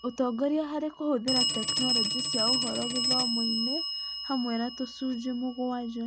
Ũtongoria harĩ kũhũthĩra tekinoronjĩ cia ũhoro gĩthomo-inĩ hamwe na tũcunjĩ mũgwanja.